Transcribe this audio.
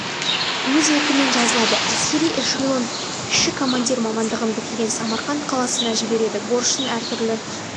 өз еркімен жазылады әскери эшелон кіші командир мамандығын бітірген самарқанд қаласына жібереді борышын әр түрлі